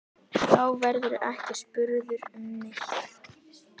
Þá verðurðu ekki spurður um neitt.